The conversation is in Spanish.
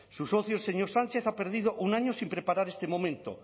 su socio el señor sánchez ha perdido un año sin preparar este momento